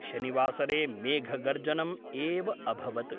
शनिवासरे मेघगर्जनम् एव अभवत्।